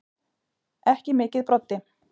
Ekki mikið Broddi.